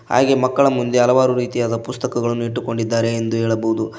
ಹಾಗೆ ಮಕ್ಕಳ ಮುಂದೆ ಹಲವಾರು ರೀತಿಯಾದ ಪುಸ್ತಕಗಳನ್ನು ಇಟ್ಟುಕೊಂಡಿದ್ದಾರೆ ಎಂದು ಹೇಳಬಹುದು.